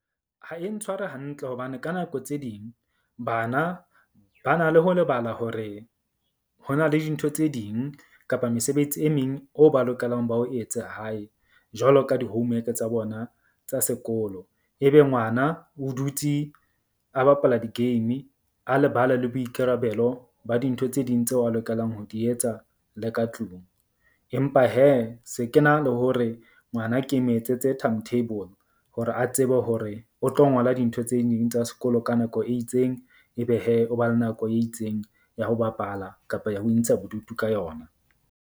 Ha e ntshware hantle hobane ka nako tse ding bana ba na le ho lebala hore ho na le dintho tse ding kapa mesebetsi e meng o ba lokelang ba o etse hae. Jwalo ka di-homework-e tsa bona tsa sekolo. Ebe ngwana o dutse a bapala di-game a lebala le boikarabelo ba dintho tse ding tseo a lokelang ho di etsa le ka tlung. Empa hee se ke na le hore ngwana ke me etsetse time table hore a tsebe hore o tlo ngola dintho tse ding tsa sekolo ka nako e itseng, ebe hee o ba le nako e itseng ya ho bapala kapa ya ho intsha bodutu ka yona.